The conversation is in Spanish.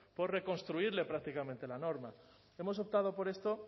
por reconstruirle prácticamente la norma hemos optado por esto